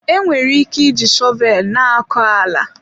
Enwere ike iji shọvel na-akọ ala.